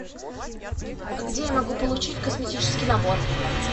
где я могу получить косметический набор